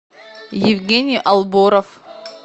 евгений алборов